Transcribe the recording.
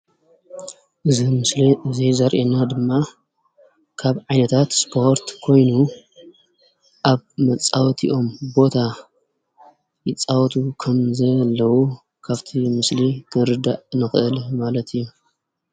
እዚ ምስሊ እዚ ዘርእየና ድማ ካብ ዓይነታት ስፖርት ኮይኑ፤ አብ መፃወቲኦም ቦታ ይፃወቱ ከም ዘለው ካብቲ ምስሊ ክንርዳእ ንክእል ማለት እዩ፡፡